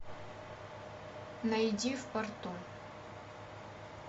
найди в порту